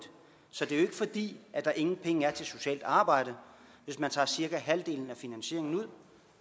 så det er jo ikke fordi der ingen penge er til socialt arbejde hvis man tager cirka halvdelen af finansieringen ud